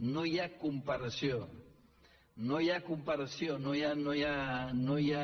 no hi ha com·paració no hi ha comparació no hi ha